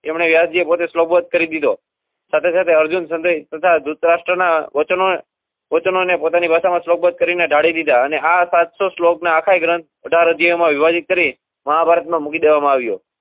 એમને વ્યાસજી પોતે કરી દીધો સાથે સાથે અર્જુન ધુતરાષ્ટ ના વચનો~ વચનોને પોતાની ભાષા માં શ્લો બધ કરી ને ઢાળી ધીધા અને આ સાત સો ષ્લોક ક આખા ગ્રથ ને વિભાજીત કરી મહાભારત માં મૂકી દેવા માં આવ્યો